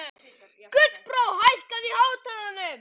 Gullbrá, hækkaðu í hátalaranum.